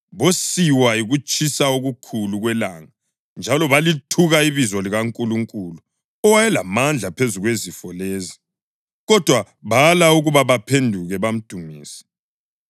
Bosiwa yikutshisa okukhulu kwelanga njalo balithuka ibizo likaNkulunkulu, owayelamandla phezu kwezifo lezi, kodwa bala ukuba baphenduke bamdumise.